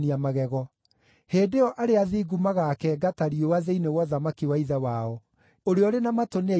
Hĩndĩ ĩyo arĩa athingu magaakenga ta riũa thĩinĩ wa ũthamaki wa Ithe wao. Ũrĩa ũrĩ na matũ nĩ aigue.